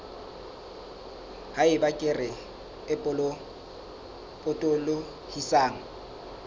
ha eba kere e potolohisang